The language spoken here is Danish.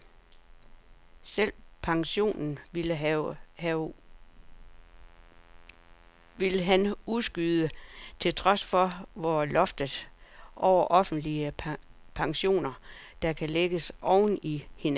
Selve pensionen ville han udskyde til tres år, hvor loftet over offentlige pensioner, der kan lægges oven i hinanden, skulle strammes.